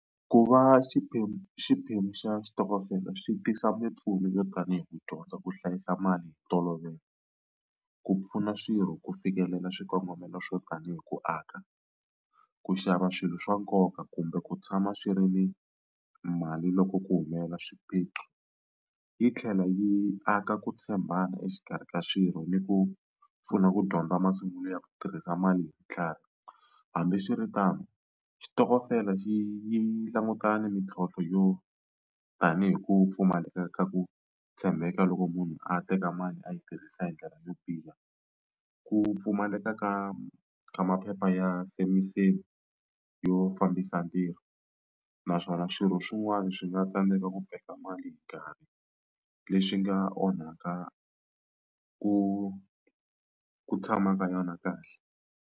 Ku va xiphemu xiphemu xa xitokofela swi tisa mimpfuno yo tanihi ku dyondza ku hlayisa mali hi ntolovelo ku pfuna swirho ku fikelela swikongomelo swo tanihi ku aka, ku xava swilo swa nkoka kumbe ku tshama swi ri ni mali loko ku humelela swiphiqo. Yi tlhela yi aka ku tshembana exikarhi ka swirho ni ku pfuna ku dyondza masungulo ya ku tirhisa mali hi vutlhari hambiswiritano xitokofela xi langutana ni mintlhontlho yo tanihi ku pfumaleka ka ku tshembeka loko munhu a teka mali a yi tirhisa hi ndlela yo biha. Ku pfumaleka ka ka maphepha ya yo fambisa ntirho naswona swirho swin'wana swi nga tsandzeka ku veka mali hi nkarhi leswi nga onhaka ku ku tshama ka yona kahle.